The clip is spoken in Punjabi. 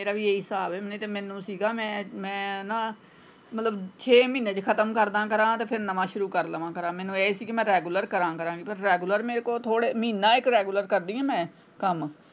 ਮੇਰਾ ਵੀ ਇਹੀ ਸਾਬ ਹੈ ਨਿਤੇ ਮੈਨੂੰ ਸੀਗਾ ਮੈਂ ਨਾ ਮੈਂ ਮਤਲਬ ਛੇ ਮਹੀਨੇ ਚ ਖਤਮ ਕਰਦਾਂ ਕਰਾਂ ਫੇਰ ਨਵਾਂ ਸ਼ੁਰੂ ਕਰਦਿਆਂ ਕਰਾਂ ਮੈਨੂੰ ਇਹ ਸੀ ਕਿ ਮੈਂ regular ਕਰਾਂ ਕਰਾਂ ਤੇ regular ਮੇਰੇ ਕੋਲ ਥੋੜੇ ਮਹੀਨਾ ਇੱਕ regular ਕਦੀ ਆਂ ਮੈਂ।